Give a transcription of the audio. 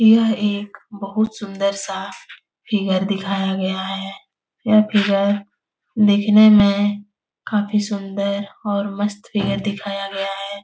यह एक बहुत सुन्दर सा फिगर दिखाया गया है | यह फिगर दिखने में काफ़ी सुन्दर और मस्त फिगर दिखाया गया है।